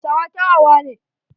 Hausawa kyakyawa ne.